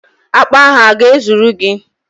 Akpo ahu o ga-ezuru gi?